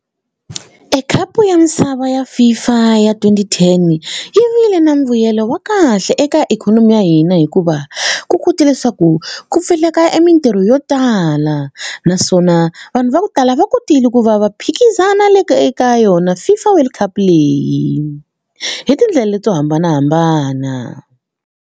E khapu ya misava ya FIFA ya twenty-ten yi vile na mbuyelo wa kahle eka ikhonomi ya hina hikuva ku kote leswaku ku pfuleka e mitirho yo tala naswona vanhu va ku tala va kotile ku va va phikizana le ka eka yona FIFA world cup leyi hi tindlela leti to hambanahambana.